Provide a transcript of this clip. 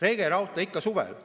Rege rauta ikka suvel.